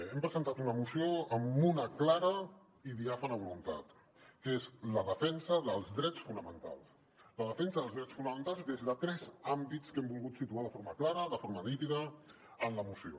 hem presentat una moció amb una clara i diàfana voluntat que és la defensa dels drets fonamentals la defensa dels drets fonamentals des de tres àmbits que hem volgut situar de forma clara de forma nítida en la moció